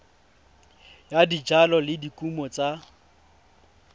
ya dijalo le dikumo tsa